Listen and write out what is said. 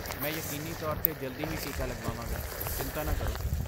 ਮੈਂ ਯਕੀਨੀ ਤੌਰ 'ਤੇ ਜਲਦੀ ਹੀ ਟੀਕਾ ਲਗਵਾਵਾਂਗਾ, ਚਿੰਤਾ ਨਾ ਕਰੋ।